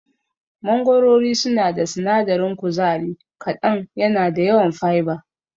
Mangorori suna da sinadarin kuzari kaɗan yana da yawan fiber.